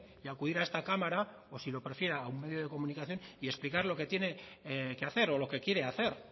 y acudir a esta cámara o si lo prefiere a un medio de comunicación y explicar lo que tiene que hacer o lo que quiere hacer